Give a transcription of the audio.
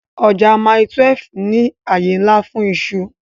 Ọjà Mile 12 ní àyè ńlá fún iṣu